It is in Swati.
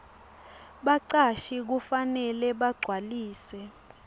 bacashi kufanele bagcwalise